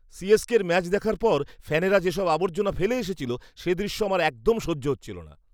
সি.এস.কের match দেখার পর ফ্যানেরা যেসব আবর্জনা ফেলে এসেছিল, সে দৃশ্য আমার একদম সহ্য হচ্ছিল না।